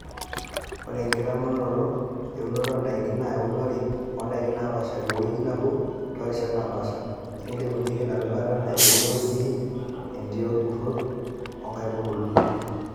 Ore enkitamanoro eunoto ondaikin naa eunore ondakin naapasha tegweji nebo torishat naapasha, neilepunyie ina rutuba neiboyo sii entii oorkurt oo nkaitubulu.